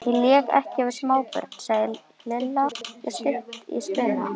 Ég leik ekki við smábörn sagði Lilla stutt í spuna.